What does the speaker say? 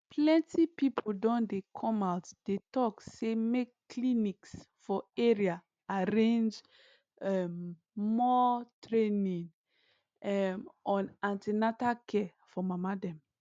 plenty people don dey come out dey talk say make clinics for area arrange um more training um on an ten atal care for mama dem